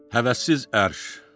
Həvəssiz ərş.